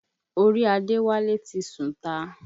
Orí Àdéwálé ti sùnta.